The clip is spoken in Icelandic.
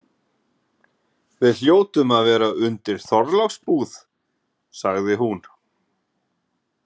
Við hljótum að vera undir Þorláksbúð, sagði hún.